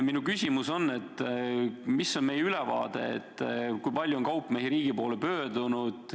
Minu küsimus on, kas teil on ülevaade, kui palju kaupmehi riigi poole on pöördunud.